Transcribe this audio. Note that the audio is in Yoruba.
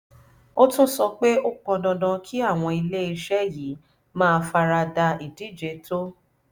ó tún sọ pé ó pọn dandan kí àwọn iléeṣẹ́ yìí máa fara da ìdíje tó